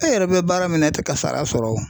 E yɛrɛ bɛ baara min na e tɛ ka sara sɔrɔ o.